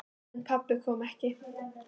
En pabbi kom ekki.